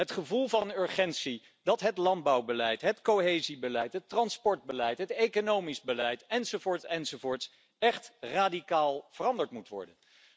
Het gevoel van urgentie dat het landbouwbeleid, het cohesiebeleid, het transportbeleid, het economisch beleid, enzovoort, enzovoort, echt radicaal veranderd moet worden.